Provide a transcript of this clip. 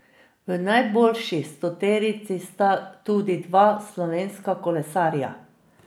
V najboljši stoterici sta tudi dva slovenska kolesarja.